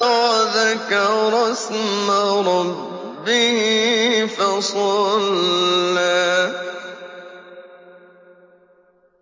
وَذَكَرَ اسْمَ رَبِّهِ فَصَلَّىٰ